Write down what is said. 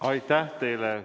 Aitäh teile!